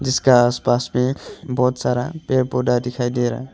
जिसका आस पास में बहुत सारा पेड़ पौधा दिखाई दे रहा है।